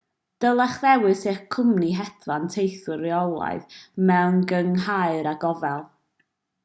dylech ddewis eich cwmni hedfan teithiwr rheolaidd mewn cynghrair â gofal